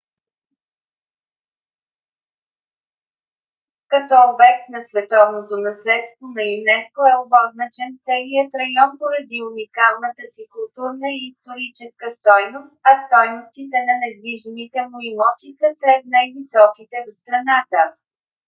като обект на световното наследство на юнеско е обозначен целият район поради уникалната си културна и историческа стойност а стойностите на недвижимите му имоти са сред най - високите в страната